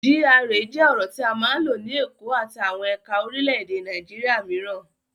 GRA jẹ́ ọ̀rọ̀ tí a máa ń lò ní Èkó àti àwọn ẹ̀ka orílẹ̀-èdè Nàìjíríà mìíràn.